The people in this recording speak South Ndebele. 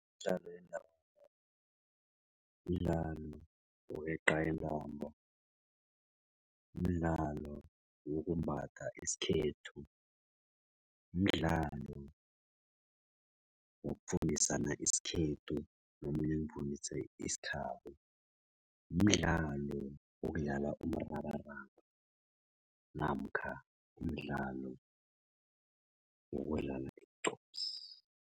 Imidlalo yendabuko midlalo yokweqa intambo, mdlalo wokumbatha isikhethu, mdlalo wokufundisana isikhethu nomunye ungifundisa isikhabo, mdlalo wokudlala umrabaraba namkha umdlalo wokudla igqupsi.